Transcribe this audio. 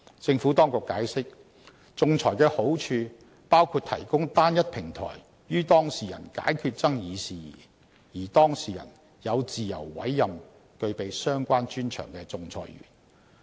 政府當局解釋，仲裁的好處包括提供單一平台予當事人解決爭議事宜，而當事人有自由委任具備相關專長的仲裁員。